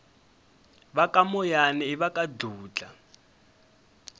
vakamoyana ivaka dludla